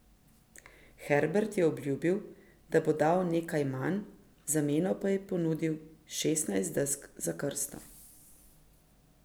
Herbert je obljubil, da bo dal nekaj manj, v zameno pa je ponudil šestnajst desk za krsto.